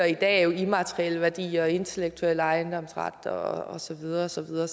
i dag er immaterielle værdier intellektuel ejendomsret og så videre og så videre